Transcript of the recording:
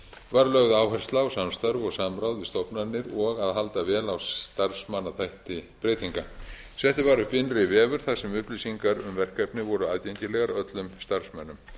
var lögð áhersla á samstarf og samráð við stofnanir og að halda vel á starfsmannaþætti breytinga settur var upp innri vefur þar sem upplýsingar um verkefnið voru aðgengilegar öllum starfsmönnum